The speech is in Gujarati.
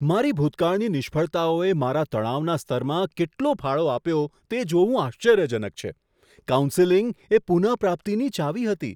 મારી ભૂતકાળની નિષ્ફળતાઓએ મારા તણાવના સ્તરમાં કેટલો ફાળો આપ્યો તે જોવું આશ્ચર્યજનક છે. કાઉન્સેલિંગ એ પુનઃપ્રાપ્તિની ચાવી હતી.